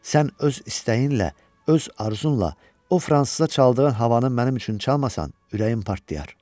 Sən öz istəyinlə, öz arzunla o fransıza çaldığın havanı mənim üçün çalmasan, ürəyim partlayar.